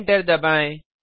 enter दबाएँ